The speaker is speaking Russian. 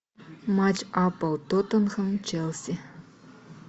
матч апл тоттенхэм челси